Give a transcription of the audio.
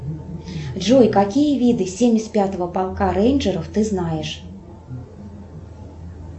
джой какие виды семьдесят пятого полка рейнджеров ты знаешь